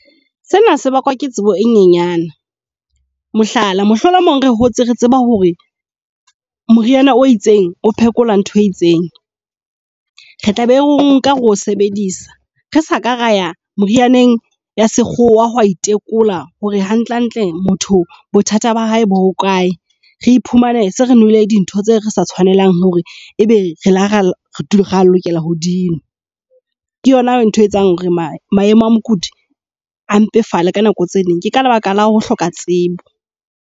Sena se bakwa ke tsebo e nyenyane, mohlala mohlolomong re hotse re tseba hore moriana o itseng o phekola ntho e itseng. Re tlabe re o nka re o sebedisa re sa ka raya merianeng ya sekgowa hoya itekola hore hantlentle motho bothata ba hae bo ho kae. Re iphumane se re nwele dintho tseo re sa tshwanelang hore ebe re re lokela ho dinwa. Ke yona ntho etsang hore maemo a mokudi a mpefale ka nako tse ding ke ka lebaka la ho hloka tsebo.